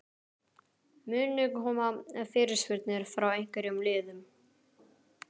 Munu koma fyrirspurnir frá einhverjum liðum?